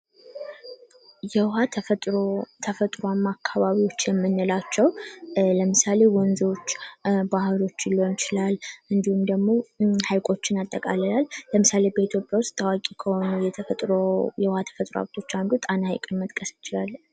የውሃ ተፈጥሮ አካባቢ የምንላቸው ለምሳሌ ወንዞች ባህሮችን ሊሆን ይችላል እንዲሁም ደግሞ ሀይቆችን በአጠቃላይ ለምሳሌ በኢትዮጵያ ውስጥ ታዋቂ ከሆኑ የተፈጥሮ የውሃ ተፈጥሮ ሃብቶች አንዱ ጣና ሐይቅን መግለጽ እንችላለን።